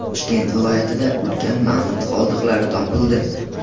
Toshkent viloyatida ulkan mamont qoldiqlari topildi.